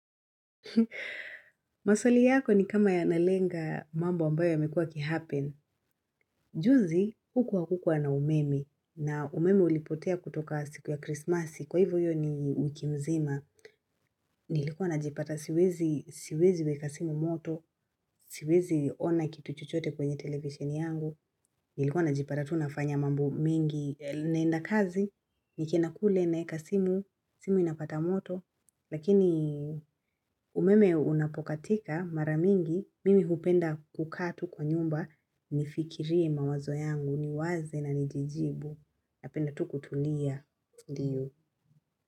Maswali yako ni kama yanalenga mambo ambayo yamekuwa yakihappen. Juzi huku hakukua na umeme na umeme ulipotea kutoka siku ya krismasi kwa hivyo hiyo ni wiki mzima. Nilikuwa najipata siwezi weka simu moto, siwezi ona kitu chochote kwenye television yangu. Nilikuwa najipata tu nafanya mambo mingi naenda kazi, nikienda kule naeka simu, simu inapata moto. Lakini umeme unapokatika mara mingi mimi hupenda kukaa tu kwa nyumba nifikirie mawazo yangu niwaze na nijijibu napenda tu kutulia ndiyo.